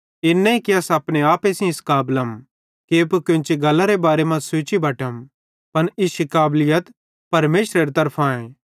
इन नईं कि अस अपने आपे सेइं इस काबलम कि एप्पू कोन्ची गल्लरे बारे मां सोची बटम पन इश्शी काबलीत परमेशरे तरफां आए